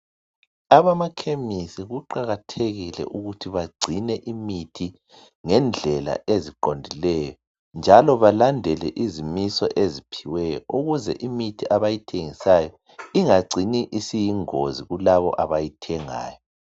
abamakhemisi kuqhakathekile ukuba becine imithi ngendlela eziqondileyo njalo belandele izimiso eziphiweyo ukuze imithi abayithengisayo ingacini isiyingozi kulaba abayithengayo